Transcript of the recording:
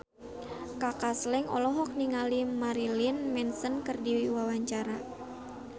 Kaka Slank olohok ningali Marilyn Manson keur diwawancara